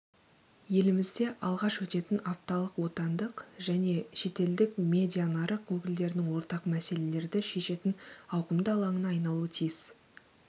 елімізде алғаш өтетін апталық отандық және шетелдік медианарық өкілдерінің ортақ мәселелерді шешетін ауқымды алаңына айналуы тиіс